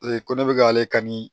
Ee ko ne be k'ale kan ni